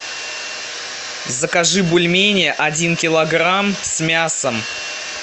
закажи бульмени один килограмм с мясом